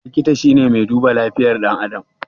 Likita shine mai duba lafiyar ɗan adam